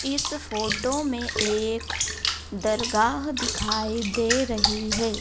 इस फोटो में एक दरगाह दिखाई दे रही है।